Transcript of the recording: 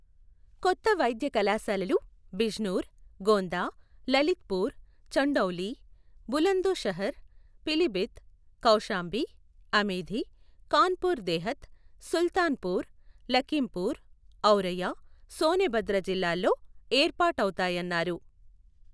కొత్త వైద్య కళాశాలలు Bijnor, Gonda, Lalitpur, Chandauli, Bulandshahr, Pilibhit, Kaushambi, Amethi, Kanpur Dehat, Sultanpur, Lakhimpur, Auraiya, Sonbhadra జిల్లాల్లో ఏర్పాటవుతాయన్నారు.